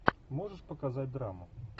можешь показать драму